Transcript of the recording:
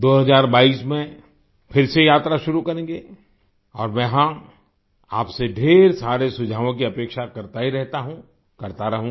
2022 में फिर से यात्रा शुरू करेंगे और मैं हाँ आपसे ढ़ेर सारे सुझावों की अपेक्षा करता ही रहता हूँ करता रहूँगा